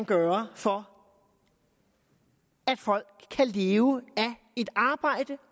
gøre for at folk kan leve af et arbejde